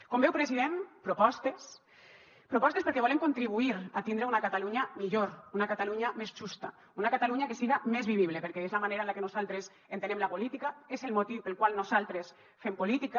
com veu president propostes propostes perquè volem contribuir a tindre una catalunya millor una catalunya més justa una catalunya que siga més vivible perquè és la manera en la que nosaltres entenem la política és el motiu pel qual nosaltres fem política